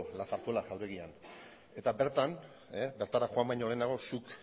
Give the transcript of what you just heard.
la zarzuela jauregian eta bertan bertara joan baino lehenago zuk